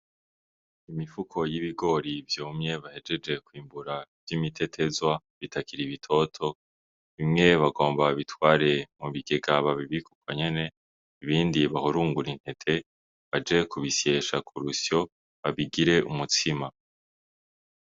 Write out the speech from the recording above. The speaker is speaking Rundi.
Imifuko y' ibigori vyumye bahejeje kwimbugwa vy' imitetezwa bitoto bimwe bagomba babitware babibike uko nyene ibindi bahurungure intete baje kubisyesha kurusyo bateke umutsima.